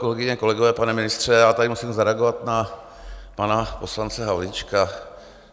Kolegyně, kolegové, pane ministře, já tady musím zareagovat na pana poslance Havlíčka.